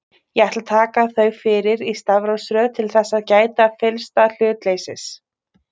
Ég ætla að taka þau fyrir í stafrófsröð til þess að gæta fyllsta hlutleysis.